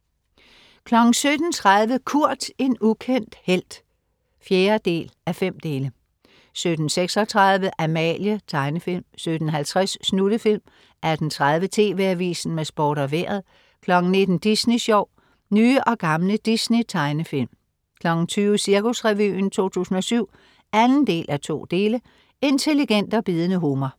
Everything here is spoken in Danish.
17.30 Kurt, en ukendt helt 4:5 17.36 Amalie. Tegnefilm 17.50 Snuttefilm 18.30 TV AVISEN med Sport og Vejret 19.00 Disney Sjov. Nye og gamle Disney tegnefilm 20.00 Cirkusrevyen 2007 2:2. Intelligent og bidende humor